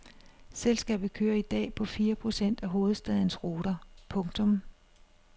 Selskabet kører i dag på fire procent af hovedstadens ruter. punktum